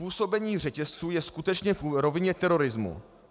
Působení řetězců je skutečně v rovině terorismu.